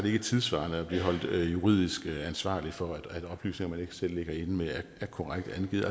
ikke tidssvarende at blive holdt juridisk ansvarlig for at oplysninger man ikke selv ligger inde med er korrekt angivet